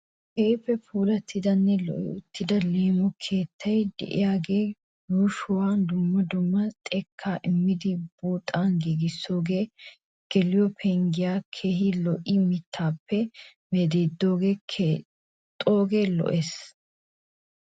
Keehi puulattidanne lo'i uttida leemo keettay de'iyaagee yuushuwa dumma dumma xekkaa immidi buuxan giigisoogee geliyo pengiyaakka keehi lo'iya mittaappe medhdhidi keexxoogee lo'ees.